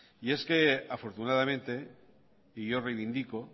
y es que afortunadamente y yo reivindico